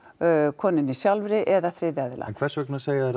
konunni sjálfri eða þriðja aðila en hvers vegna segja þær að